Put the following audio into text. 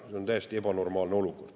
See on täiesti ebanormaalne olukord.